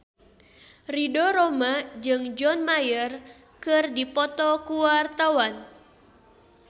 Ridho Roma jeung John Mayer keur dipoto ku wartawan